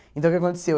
Então, o que aconteceu?